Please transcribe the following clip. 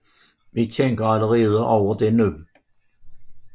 Vi tænker allerede over det nu